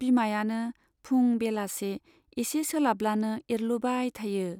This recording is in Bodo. बिमायानो फुं बेलासि एसे सोलाबब्लानो एरलुबाय थायो।